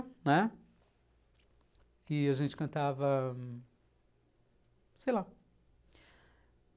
Né, e a gente cantava... Sei lá.